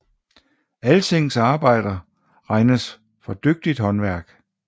Alsings arbejder regnes for dygtigt håndværk